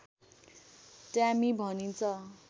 Tammy भनिन्छ